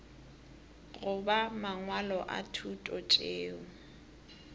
goba mangwalo a thuto tšeo